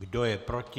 Kdo je proti?